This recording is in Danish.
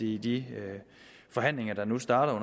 i de forhandlinger der nu starter